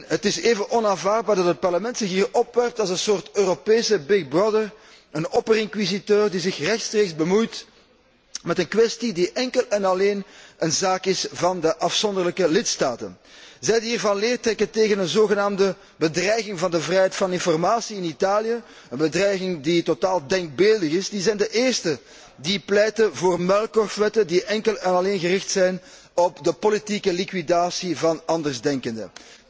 Het is even onaanvaardbaar dat het Parlement zich hier opwerpt als een soort Europese een opperinquisiteur die zich rechtstreeks bemoeit met een kwestie die enkel en alleen een zaak is van de afzonderlijke lidstaten. Zij die hier van leer trekken tegen een zogenaamde bedreiging van de vrijheid van informatie in Italië, een bedreiging die totaal denkbeeldig is, zijn de eersten die pleiten voor muilkorfwetten die enkel en alleen gericht zijn op de politieke liquidatie van andersdenkenden.